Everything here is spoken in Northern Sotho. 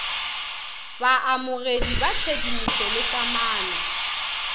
baamogedi ba tshedimošo le kamano